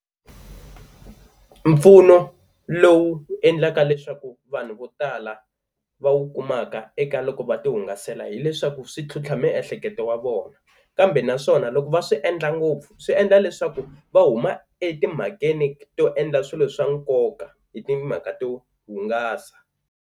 Mpfuno lowu endlaka leswaku vanhu vo tala va wu kumaka eka loko va tihungasela hileswaku swi tlhontlha miehleketo ya vona kambe naswona loko va swi endla ngopfu swi endla leswaku va huma etimhakeni to endla swilo swa nkoka hi timhaka to hungasa.